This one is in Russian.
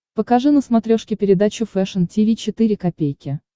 покажи на смотрешке передачу фэшн ти ви четыре ка